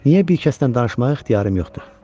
Niyə bir kəsdən danışmağa ixtiyarım yoxdur?